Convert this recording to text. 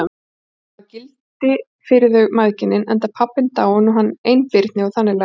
Þau hafi gildi fyrir þau mæðginin, enda pabbinn dáinn og hann einbirni og þannig lagað.